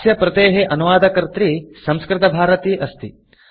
अस्य प्रतेः अनुवादकर्त्री संस्कृतभारती अस्ति